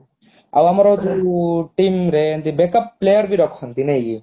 ଆଉ ଆମର ଯୋଉ team ରେ ଏମିତି backup ବି ରଖନ୍ତି ନାଇଁ କି